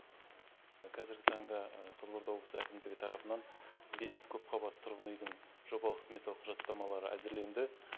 қазіргі таңда қызылорда облысы әкімдігі тарапынан бес көпқабатты тұрғын үйдің жобалық сметалық құжаттамалары әзірленді